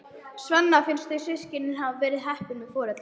Svenna finnst þau systkinin hafa verið heppin með foreldra.